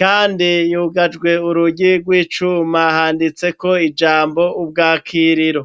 kandi yugajwe urugi rw'icuma handitseko ijambo ubwakiriro.